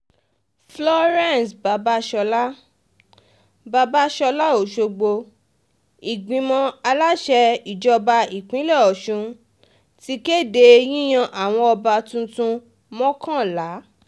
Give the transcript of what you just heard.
florence babasola babasola ọ̀ṣọ́gbó ìgbìmọ̀ aláṣẹ um ìjọba ìpínlẹ̀ ọ̀sùn ti um kéde yíyan àwọn ọba tuntun mọ́kànlá